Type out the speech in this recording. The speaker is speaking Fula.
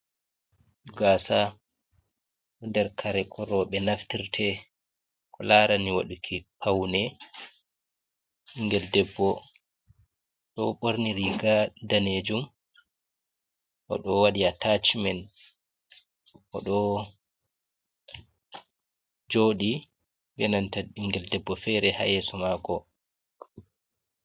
Gasa ɗo ɗer kare ko robe naftirte, ko larani waduki paune. Bingel debbo ɗo born riga danejum. Oɗo waɗi atacimen. Oɗo joɗi be nanta bingel ɗebbo fere ha yeso mako.